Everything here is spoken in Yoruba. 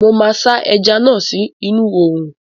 Mo máa sá ẹja náà sí inú oòrùn